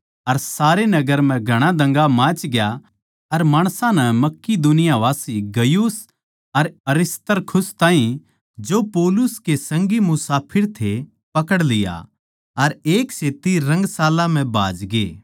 अर सारे नगर म्ह घणा दंगा माचग्या अर माणसां नै मकिदुनियावासी गयुस अर अरिस्तर्खुस ताहीं जो पौलुस के संगी मुसाफर थे पकड़ लिया अर एक सेत्ती रंगशाला म्ह भाजगे